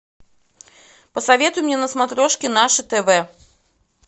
посоветуй мне на смотрешке наше тв